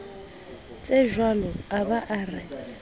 tsejwalo a ba a re